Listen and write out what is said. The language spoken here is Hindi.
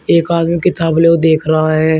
एक आदमी किताब लेव देख रहा है।